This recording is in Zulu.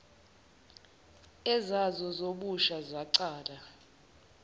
ezazo zobusha zaqala